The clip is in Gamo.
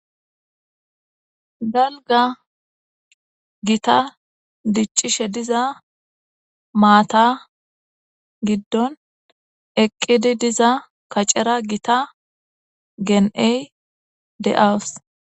galga gita diccishe diza maata giddon eqqidi diza kacera gita gen7ey de7aws